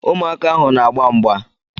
Ụmụaka ahụ n'agba mgba.